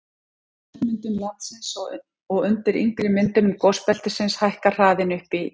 eldri bergmyndunum landsins og undir yngri myndunum gosbeltisins hækkar hraðinn upp í